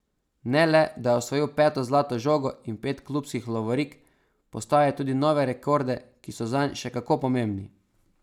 Ne le, da je osvojil peto zlato žogo in pet klubskih lovorik, postavil je tudi nove rekorde, ki so zanj še kako pomembni.